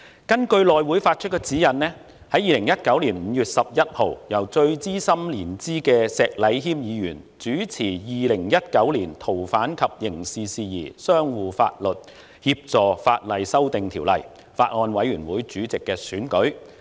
2019年5月11日，根據內務委員會發出的指引，由年資最深的石禮謙議員主持《2019年逃犯及刑事事宜相互法律協助法例條例草案》法案委員會主席選舉。